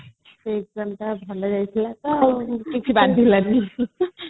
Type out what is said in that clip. ସେ exam ଭଲ ଯାଇଥିଲା ତ କିଛି ବାଧିଲାନି